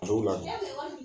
A dow la dun e tun ye wɔri di